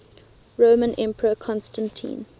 roman emperor constantine